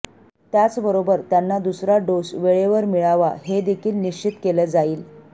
त्याचबरोबर त्यांना दुसरा डोस वेळेवर मिळावा हे देखील निश्चित केलं जाईल